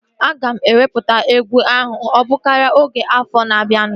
Aga m ewepụta egwu ahụ ogbụkaria oge afọ na-abianu